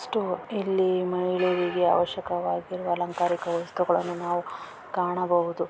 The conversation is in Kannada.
ಸ್ಟೋರ್ ಇಲ್ಲಿ ಮೈಳುವಿಗೆ ಅವಶಕವಾಗಿರುವ ಅಲಂಕಾರ ವ್ಯವಸ್ತೆಗಳನ್ನು ಕಾಣಬಹುದು.